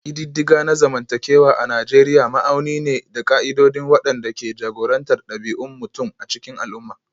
Ƙididdiga na zamantakewa a Nijeriya ma'auni ne da ƙa'idodi waɗanda ke jagorantar ɗabi'un mutum a cikin al'umma